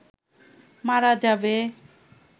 মারা যাবে